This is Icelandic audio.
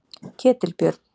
Ketilbjörn